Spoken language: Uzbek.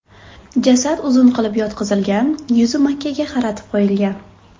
Jasad uzun qilib yotqizilgan, yuzi Makkaga qaratib qo‘yilgan.